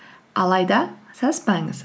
алайда саспаңыз